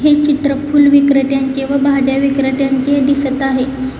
हे चित्र फुल विक्रेत्यांचे व भाज्या विक्रेत्यांचे दिसत आहे.